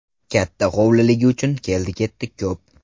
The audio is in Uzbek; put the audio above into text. Katta hovliligi uchun keldi-ketdi ko‘p.